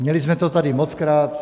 Měli jsme to tady mockrát.